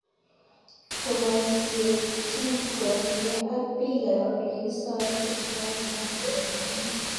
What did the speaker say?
Koboisienyi kotuiyo ak bikap Ole kisoe kristianik ak waislamiek